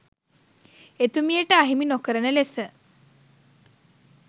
එතුමියට අහිමි නොකරන ලෙස